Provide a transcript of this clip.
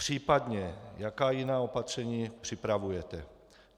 Případně jaká jiná opatření připravujete?